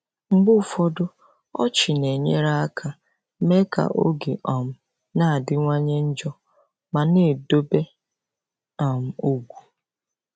Mgbe ụfọdụ, ọchị na-enyere aka mee ka oge um na-adịwanye njọ ma na-edobe um ugwu.